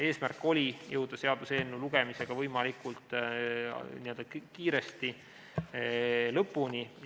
Eesmärk oli jõuda seaduseelnõu lugemisega võimalikult kiiresti lõpule.